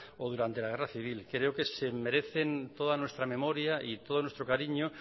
o durante la guerra civil creo que se merecen toda nuestra memoria y todo nuestro cariño